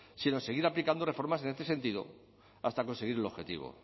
si no en seguir aplicando reformas en este sentido hasta conseguir el objetivo